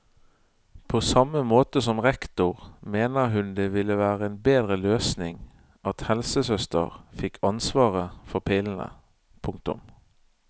På samme måte som rektor mener hun det ville være en bedre løsning at helsesøster fikk ansvaret for pillene. punktum